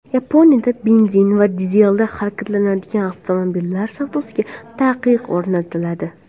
Yaponiyada benzin va dizelda harakatlanadigan avtomobillar savdosiga taqiq o‘rnatiladi.